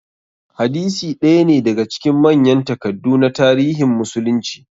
Hadisi ɗaya ne daga cikin manyan takaddu na tarihin musulunci.